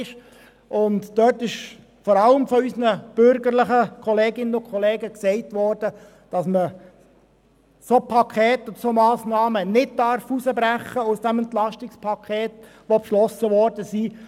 Vor allem von den bürgerlichen Kolleginnen und Kollegen wurde diesbezüglich gesagt, dass solche Pakete und solche Massnahmen nicht aus dem beschlossenen EP herausgebrochen werden dürfen.